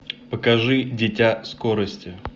покажи дитя скорости